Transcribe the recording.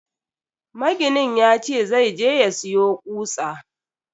Maginin yace zai je ya siyo kutsa.